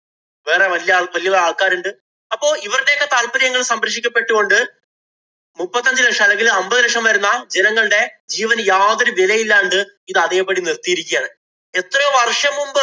വേറെ വല്യ ആള്‍ വല്യ വല്യ ആള്‍ക്കാരുണ്ട്. അപ്പൊ ഇവരുടെ ഒക്കെ താല്പര്യങ്ങള്‍ സംരക്ഷിക്കപ്പെട്ട് കൊണ്ട് മുപ്പത്തഞ്ചു ലക്ഷം അല്ലങ്കില്‍ അമ്പത് ലക്ഷം വരുന്ന ജനങ്ങളുടെ ജീവനു യാതൊരു വിലയില്ലാണ്ട് ഇത് അതേപടി നിര്‍ത്തിയിരിക്കയാണ്. എത്രയോ വർഷം മുമ്പ്